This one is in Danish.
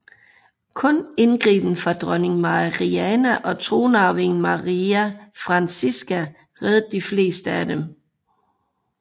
Kun indgriben fra dronning Mariana og tronarvingen Maria Francisca reddede de fleste af dem